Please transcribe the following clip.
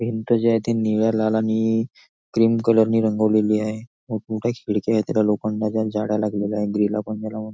भिंत जी आहे ती निळ्या लाल आणि क्रीम कलर ने रंगवलेली आहे मोठं मोठ्या खिडक्या आहे तिला लोखंडाच्या जाळ्या लागलेल्या आहे --